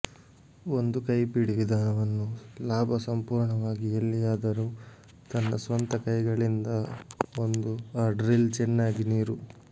ಒಂದು ಕೈಪಿಡಿ ವಿಧಾನವನ್ನು ಲಾಭ ಸಂಪೂರ್ಣವಾಗಿ ಎಲ್ಲಿಯಾದರೂ ತನ್ನ ಸ್ವಂತ ಕೈಗಳಿಂದ ಒಂದು ಆ ಡ್ರಿಲ್ ಚೆನ್ನಾಗಿ ನೀರು